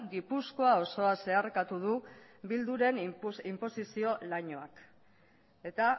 gipuzkoa osoa zeharkatu du biduren inposizio lainoak etaa